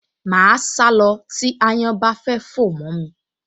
Màá sá lọ tí ááyán bá fẹ́ fò mọ́ mi